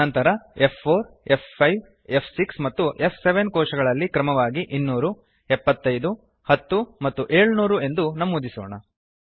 ನಂತರ f4f5ಫ್6 ಮತ್ತು ಫ್7 ಕೋಶಗಳಲ್ಲಿ ಕ್ರಮವಾಗಿ 2007510 ಮತ್ತು 700 ಎಂದು ನಮೂದಿಸೋಣ